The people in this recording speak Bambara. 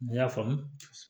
Ne y'a faamu